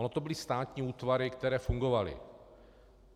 Ono to byly státní útvary, které fungovaly.